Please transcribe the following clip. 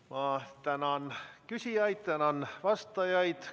Ma tänan küsijaid ja tänan vastajaid.